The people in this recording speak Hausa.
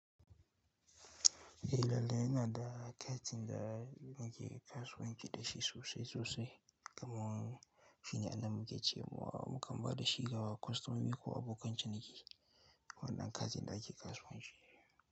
Eh lallai ina da katin da muke kasuwanci da shi sosai sosai. Kamar shine abun da muke cewa mukan ba da shi ga kwastomomi ko abokan ciniki. Wannan katin da ake kasuwanci.